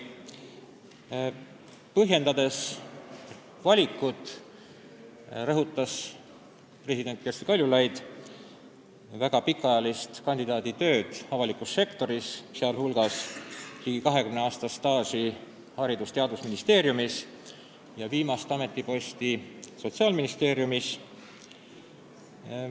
Põhjendades oma valikut, rõhutas president Kersti Kaljulaid kandidaat Janar Holmi väga pikaajalist tööd avalikus sektoris, sh ligi 20-aastast staaži Haridus- ja Teadusministeeriumis ning viimast ametiposti Sotsiaalministeeriumis.